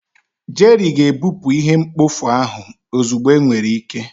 Jerry ga-ebupụ ihe mkpofu ahụ ozugbo enwere ike.